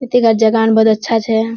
इठीकार जोगोखान बोहोतअच्छा छे।